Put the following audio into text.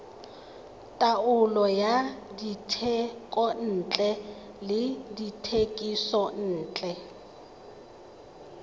taolo ya dithekontle le dithekisontle